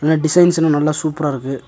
இந்த டிசைன்ஸ் இன்னு நல்லா சூப்பரா இருக்கு.